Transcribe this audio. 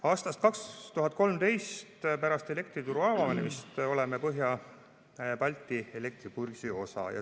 Aastast 2013, pärast elektrituru avanemist oleme Põhja-Balti elektribörsi osa.